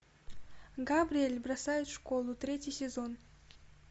габриэль бросает школу третий сезон